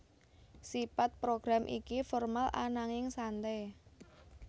Sipat program iki formal ananging sante